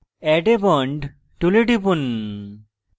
add a bond tool টিপুন